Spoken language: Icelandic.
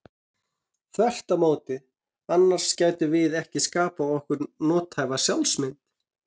Þvert á móti, annars gætum við ekki skapað okkur nothæfa sjálfsmynd.